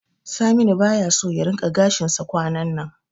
Saminu baya so ya rinqa gashinsa kwanannan.